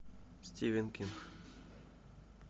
стивен кинг